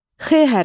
X hərfi.